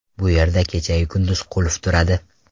Bu yer kechayu kunduz qulf turadi.